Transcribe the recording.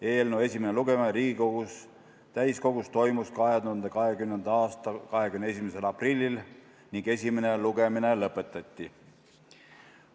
Eelnõu esimene lugemine Riigikogu täiskogus toimus 2020. aasta 21. aprillil ning esimene lugemine lõpetati.